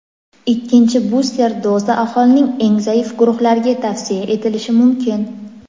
Ikkinchi buster doza aholining eng zaif guruhlariga tavsiya etilishi mumkin.